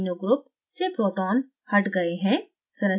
amino group nh2 से proton हट गए हैं